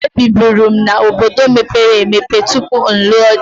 Ebiburu m n'obodo mepere emepe tupu m lụọ di.